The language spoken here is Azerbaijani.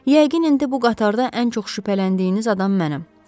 Yəqin indi bu qatarda ən çox şübhələndiyiniz adam mənəm.